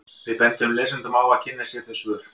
Við bendum lesendum á að kynna sér þau svör.